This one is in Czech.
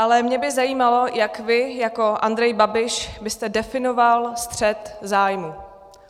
Ale mě by zajímalo, jak vy jako Andrej Babiš byste definoval střet zájmu.